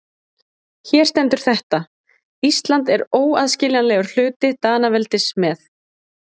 Hér stendur þetta: Ísland er óaðskiljanlegur hluti Danaveldis með.